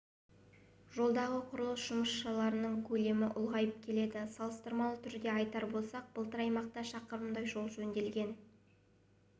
жолдағы құрылыс жұмыстарының көлемі ұлғайып келеді салыстырмалы түрде айтар болсақ былтыр аймақта шақырымдай жол жөнделген